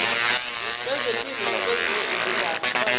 kwezempilo nakwezinye izindaba